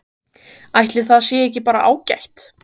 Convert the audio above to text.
Ætli það sé ekki bara ágætt?